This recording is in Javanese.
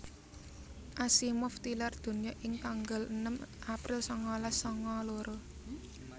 Asimov tilar donya ing tanggal enem April sangalas sanga loro